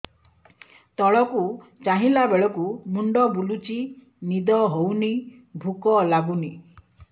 ତଳକୁ ଚାହିଁଲା ବେଳକୁ ମୁଣ୍ଡ ବୁଲୁଚି ନିଦ ହଉନି ଭୁକ ଲାଗୁନି